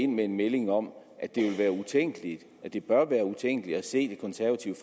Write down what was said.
med en melding om at det ville være utænkeligt at det bør være utænkeligt at se det konservative